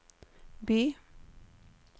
by